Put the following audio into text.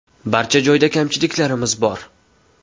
Barcha joyda kamchiliklarimiz bor.